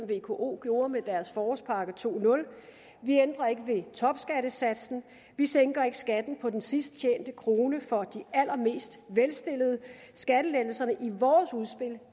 vko gjorde med deres forårspakke 20 vi ændrer ikke ved topskattesatsen vi sænker ikke skatten på den sidst tjente krone for de allermest velstillede skattelettelserne